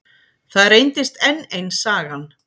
Það reyndist enn ein sagan.